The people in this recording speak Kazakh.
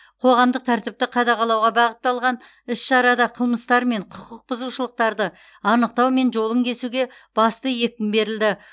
қоғамдық тәртіпті қадағалауға бағытталған іс шарада қылмыстар мен құқық бұзушылықтарды анықтау мен жолын кесуге басты екпін берілді